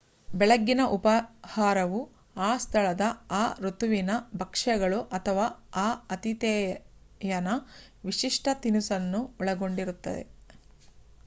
ಬೆಳಗ್ಗಿನ ಉಪಹಾರವು ಆ ಸ್ಥಳದ ಆ ಋತುವಿನ ಭಕ್ಷ್ಯಗಳು ಅಥವಾ ಆ ಆತಿಥೇಯನ ವಿಶಿಷ್ಟ ತಿನಿಸನ್ನು ಒಳಗೊಂಡಿರುತ್ತದೆ